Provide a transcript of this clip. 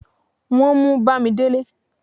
wọn mú bamidele